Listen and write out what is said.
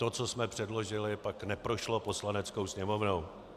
To, co jsme předložili, pak neprošlo Poslaneckou sněmovnou.